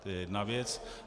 To je jedna věc.